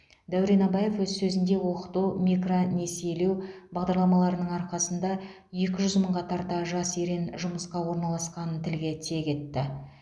дәурен абаев өз сөзінде оқыту микронесиелеу бағдарламаларының арқасында екі жүз мыңға тарта жас өрен жұмысқа орналасқанын тілге тиек етті